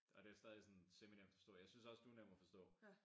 Og det stadig sådan seminemt at forstå jeg synes også du er nem at forstå